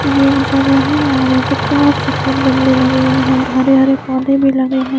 ये एक जगा है और यहा पे चार सफेद गमले लगे हुए है हरे हरे पोधे भी लगे है।